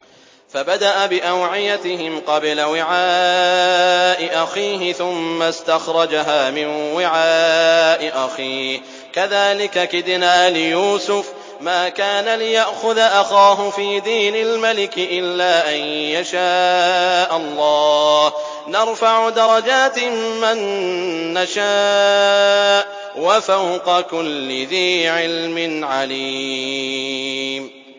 فَبَدَأَ بِأَوْعِيَتِهِمْ قَبْلَ وِعَاءِ أَخِيهِ ثُمَّ اسْتَخْرَجَهَا مِن وِعَاءِ أَخِيهِ ۚ كَذَٰلِكَ كِدْنَا لِيُوسُفَ ۖ مَا كَانَ لِيَأْخُذَ أَخَاهُ فِي دِينِ الْمَلِكِ إِلَّا أَن يَشَاءَ اللَّهُ ۚ نَرْفَعُ دَرَجَاتٍ مَّن نَّشَاءُ ۗ وَفَوْقَ كُلِّ ذِي عِلْمٍ عَلِيمٌ